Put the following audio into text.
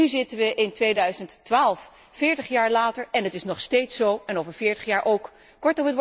Dus nu zitten we in 2012, veertig jaar later, en het is nog steeds zo en het zal over veertig jaar ook zo zijn.